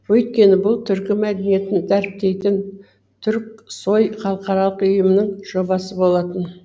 өйткені бұл түркі мәдениетін дәріптейтін түрксои халықаралық ұйымының жобасы болатын